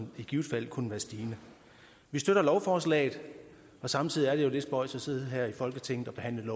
i givet fald kunne være stigende vi støtter lovforslaget samtidig er det jo lidt spøjst at sidde her i folketinget og behandle et